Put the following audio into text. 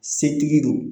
Setigi don